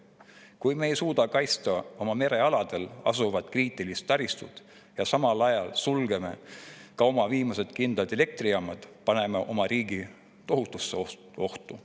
Kui me ei suuda kaitsta oma merealadel asuvat kriitilise taristut ja samal ajal sulgeme oma viimased kindlad elektrijaamad, paneme oma riigi tohutusse ohtu.